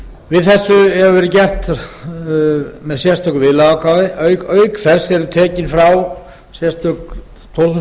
við þessu hefur verið gert með sérstöku viðlagaákvæði auk þess eru tekin frá sérstök tólf þúsund tonna